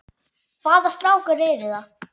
Hvaða strákar eru það?